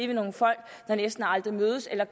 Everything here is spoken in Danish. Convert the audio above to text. nogle folk der næsten aldrig mødes eller